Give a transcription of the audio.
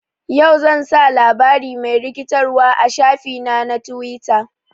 Yau, zan sa labari mai rikitarwa a shafi na na twita.